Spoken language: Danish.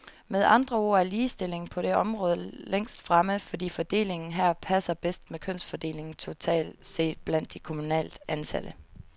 Med andre ord er ligestillingen på det område længst fremme, fordi fordelingen her passer bedst med kønsfordelingen totalt set blandt de kommunalt ansatte.